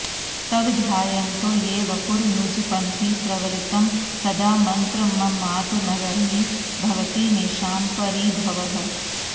तव ध्यायन्तो ये वपुरनुजपन्ति प्रवलितं सदा मन्त्रम्मातर्न्नहि भवति तेषाम्परिभवः